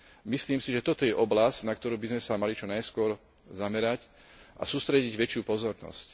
Myslím si, že toto je oblasť, na ktorú by sme sa mali čo najskôr zamerať a sústrediť väčšiu pozornosť.